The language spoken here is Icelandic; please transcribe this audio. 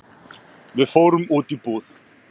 Við fórum út í búð.